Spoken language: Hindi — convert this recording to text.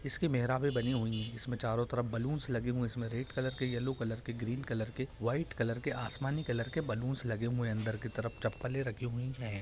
इसकी मेहरावे बनी हुई हैं | इसमें चारो तरफ बलून्स लगे हुए हैं | इसमें रेड कलर के येलो कलर के ग्रीन कलर के वाइट कलर के आसमानी कलर के बलून्स लगे हुए हैं अंदर के तरफ | चप्पलें रखी हुई हैं |